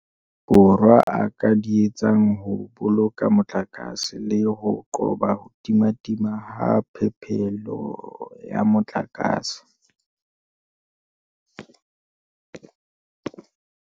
Borwa a ka di etsang ho boloka motlakase le ho qoba ho timatima ha phepelo ya motlakase.